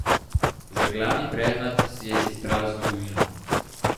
Za glavni predmet si je izbrala zgodovino.